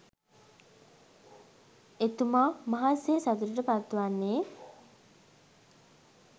එතුමා මහත් සේ සතුටට පත් වන්නේ